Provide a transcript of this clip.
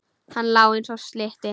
Hann lá eins og slytti.